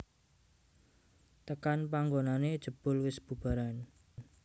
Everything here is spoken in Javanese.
Tekan panggonané jebul wis bubaran